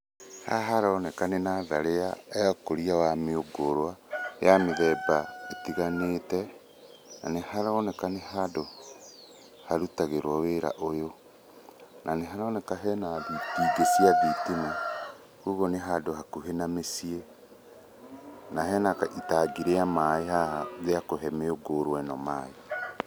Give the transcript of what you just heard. Hahaharoneka nĩ natharĩ ya ũkũria wa mĩungũrũa ya mĩthemba ĩtiganĩte, na nĩ haroneka nĩ handũ harutagĩrwo wĩra ũyũ, na nĩ haroneka hena itingĩ cia thitima koguo nĩ handũ hakuhĩ na mĩciĩ na hena itangi rĩa maĩ haha rĩa kũhe mĩũngũrũa ĩno maĩ.